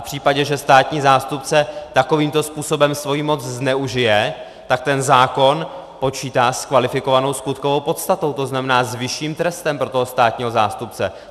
V případě, že státní zástupce takovýmto způsobem svoji moc zneužije, tak ten zákon počítá s kvalifikovanou skutkovou podstatou, to znamená s vyšším trestem pro toho státního zástupce.